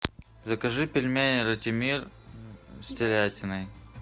закажи пельмени ратимир с телятиной